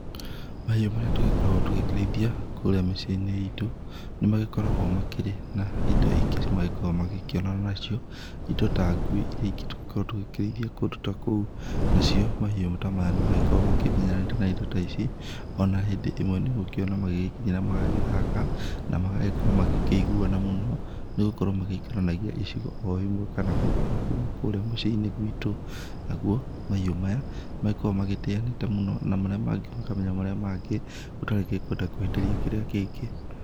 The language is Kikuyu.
Mahiũ marĩa tũgĩkoragwo tũgĩkĩrĩithia kũrĩa mĩciĩ-inĩ itũ nĩ magikoragwo makĩrĩ na indo ingĩ magĩkoragwo magĩkĩonana nacio indo ta ngui iria ingĩ tũgĩkoragwo tũgĩkĩrĩithia kũndũ ta kũu, nacio mahiũ ta maya nĩ makoragwo makĩmenyanĩte na indo ta ici ona hĩndĩ ĩmwe nĩ ũgũgĩkiona magĩgĩkinyĩra na magagĩthaka na magagĩkorwo magĩkĩiguana mũno nĩ gũkorwo magĩikaranagia icigo o imwe kana o kũndũ o kũmwe kũrĩa mũciĩ-inĩ gwĩtũ nagũo mahiũ maya magĩkoragwo magĩtĩanĩte mũno na makamenya marĩa mangĩ gũtarĩkĩngĩenda kũhĩtĩria kĩrĩa kĩngĩ.